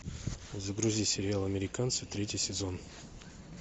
загрузи сериал американцы третий сезон